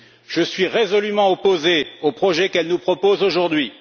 Je suis résolument opposé au projet qu'elle nous propose aujourd'hui.